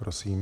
Prosím.